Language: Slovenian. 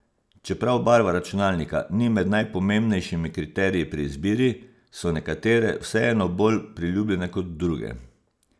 Čeprav barva računalnika ni med najpomembnejšimi kriteriji pri izbiri, so nekatere vseeno bolj priljubljene kot druge.